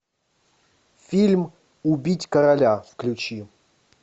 фильм убить короля включи